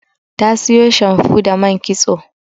Ta siyo shamfu da man kitso.